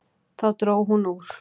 Þá dró hún úr.